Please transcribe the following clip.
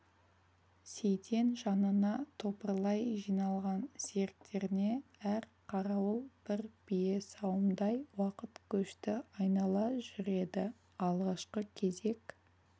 сейтен жанына топырлай жиналған серіктеріне әр қарауыл бір бие сауымдай уақыт көшті айнала жүреді алғашқы кезек